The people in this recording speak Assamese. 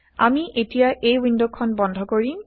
আমি এতিয়া এই ৱিণ্ডখন160 বন্ধ কৰিম